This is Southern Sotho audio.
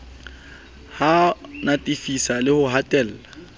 ho natefisa le ho hatella